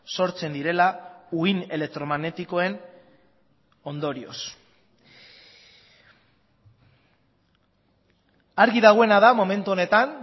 sortzen direla uhin elektromagnetikoen ondorioz argi dagoena da momentu honetan